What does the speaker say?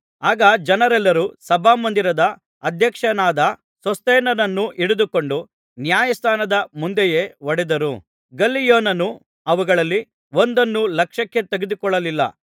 ಆಗ ಜನರೆಲ್ಲರು ಸಭಾಮಂದಿರದ ಅಧ್ಯಕ್ಷನಾದ ಸೋಸ್ಥೆನನನ್ನು ಹಿಡಿದುಕೊಂಡು ನ್ಯಾಯಸ್ಥಾನದ ಮುಂದೆಯೇ ಹೊಡೆದರು ಗಲ್ಲಿಯೋನನು ಅವುಗಳಲ್ಲಿ ಒಂದನ್ನೂ ಲಕ್ಷ್ಯಕ್ಕೆ ತೆಗೆದುಕೊಳ್ಳಲಿಲ್ಲ